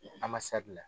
A ma sabila